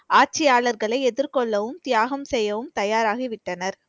ஆட்சியாளர்களை எதிர்கொள்ளவும், தியாகம் செய்யவும் தயாராகிவிட்டனர்